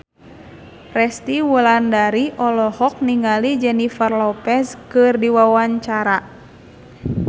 Resty Wulandari olohok ningali Jennifer Lopez keur diwawancara